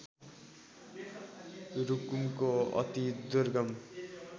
रुकुमको अति दुर्गम